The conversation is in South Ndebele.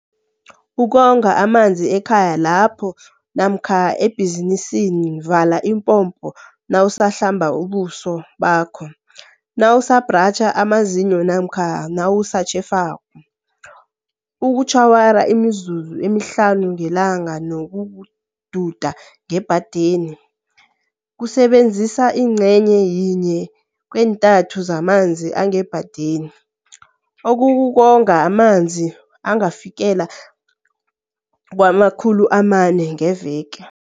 Ukonga amanzi ekhaya lakho namkha ebhizinisini Vala ipompo nawu sahlamba ubuso bakho, nawusabhratjha amazinyo namkha nawusatjhefako. Ukutjhawara imizuzu emihlanu ngeLanga kunokududa ngebhadeni, kusebenzisa ingcenye yinye keentathu zamanzi angebhadeni, okukukonga amalitha angafikela kama-400 ngeveke.